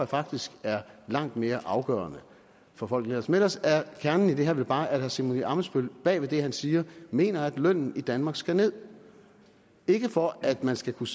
faktisk er langt mere afgørende for folk men ellers er kernen i det her vel bare at herre simon emil ammitzbøll bag ved det han siger mener at lønnen i danmark skal ned ikke for at man skal kunne